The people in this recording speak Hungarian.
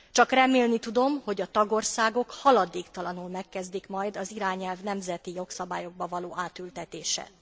Csak remélni tudom, hogy a tagországok haladéktalanul megkezdik majd az irányelv nemzeti jogszabályokba való átültetését.